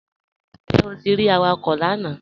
Njẹ́ o ti rí àwàkọ̀ lànà?